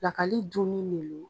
Pilakali dunni